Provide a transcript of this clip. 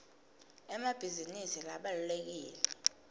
emabhizinisi abalulekile